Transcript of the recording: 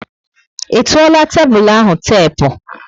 I tuola tébulu ahụ tepu?